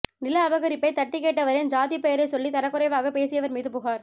நில அபகரிப்பை தட்டிக்கேட்டவரின் ஜாதிப் பெயரை சொல்லி தரக்குறைவாக பேசியவர் மீது புகார்